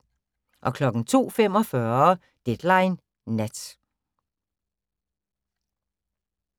02:45: Deadline Nat